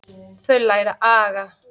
Þau læra aga.